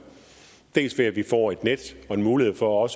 dels ved at vi får et net og en mulighed for